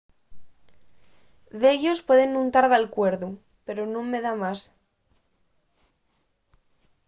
dellos pueden nun tar d’alcuerdu pero nun me da más